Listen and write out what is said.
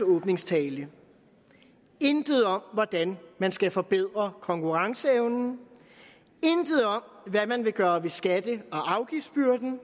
åbningstale intet om hvordan man skal forbedre konkurrenceevnen intet om hvad man vil gøre ved skatte og afgiftsbyrden